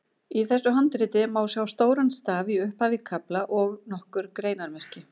Í þessu handriti má sjá stóran staf í upphaf kafla og nokkur greinarmerki.